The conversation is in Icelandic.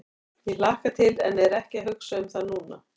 Ég hlakka til en er ekki að hugsa um það núna.